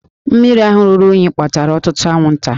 Mmiri ahụ ruru unyi kpatara ọtụtụ anwụnta